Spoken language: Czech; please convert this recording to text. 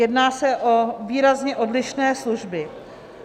Jedná se o výrazně odlišné služby.